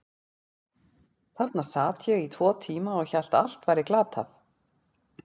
Þarna sat ég í tvo tíma og hélt að allt væri glatað.